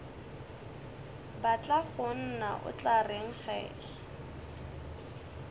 batlagonna o tla reng ge